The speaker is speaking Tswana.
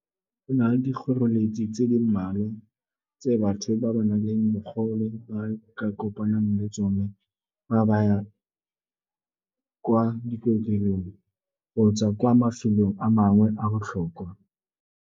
E na le dikgoreletsi tse di mmalwa tse batho ba ba nang le bogole ba ka kopanang le tsone fa ba kwa dikokelong kgotsa kwa mafelong a mangwe a botlhokwa.